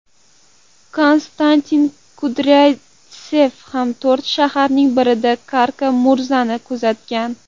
Konstantin Kudryavtsev ham to‘rt shaharning birida Kara-Murzani kuzatgan.